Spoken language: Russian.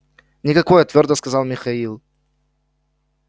никакое твёрдо сказал михаил